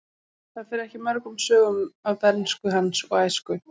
Það fer ekki mörgum sögum af bernsku hans og æsku.